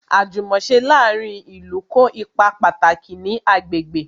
Àjùmòse láàárín ìlú kó ipa pàtàkì ní agbègbè